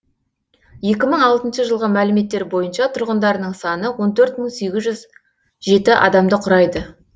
екі мың алтыншы жылғы мәліметтер бойынша тұрғындарының саны он төрт мың сегіз жүз жеті адамды құрайды